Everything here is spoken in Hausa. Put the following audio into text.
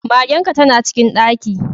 Magen ka tana cikin ɗaki.